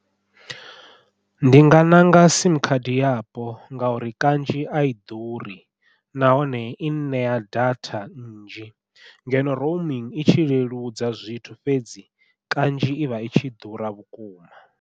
Ndi nga ṋanga simu khadi yapo ngauri kanzhi ai ḓuri nahone i ṋea data nnzhi ngeno i tshi leludza zwithu fhedzi kanzhi i vha i tshi ḓura vhukuma.